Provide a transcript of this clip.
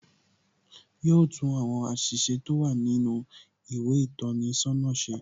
Yo tún àwọn àṣìṣe tó wà nínú ìwé ìtọ́ni sọ́nà ṣe.